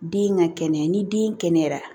Den ka kɛnɛya ni den kɛnɛyara